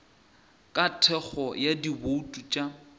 ka thekgo ya dibouto tša